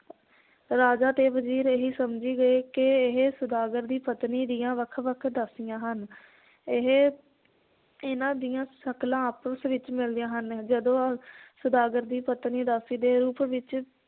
ਰਾਜਾ ਤੇ ਵਜ਼ੀਰ ਇਹੀ ਸਮਝੀ ਗਏ ਕਿ ਇਹ ਸੌਦਾਗਰ ਦੀ ਪਤਨੀ ਦੀਆਂ ਵੱਖ ਵੱਖ ਦਾਸੀਆਂ ਹਨ ਇਹ ਇਹਨਾਂ ਦੀਆਂ ਸ਼ਕਲਾਂ ਆਪਸ ਵਿਚ ਮਿਲਦੀਆਂ ਹਨ ਜਦੋਂ ਸੌਦਾਗਰ ਦੀ ਪਤਨੀ ਦਾਸੀ ਦੇ ਰੂਪ ਵਿਚ